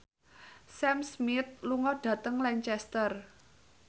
Sam Smith lunga dhateng Lancaster